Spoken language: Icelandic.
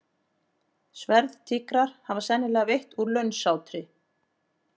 Sverðtígrar hafa sennilega veitt úr launsátri.